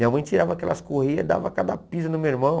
Minha mãe tirava aquelas correias e dava cada pisa no meu irmão.